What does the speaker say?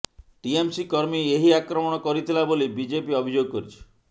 TMC କର୍ମୀ ଏହି ଆକ୍ରମଣ କରିଥିଲା ବୋଲି ବିଜେପି ଅଭିଯୋଗ କରିଛି